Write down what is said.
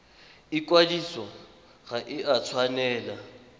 ikwadiso ga e a tshwanela